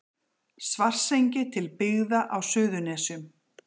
Svartsengi til byggða á Suðurnesjum.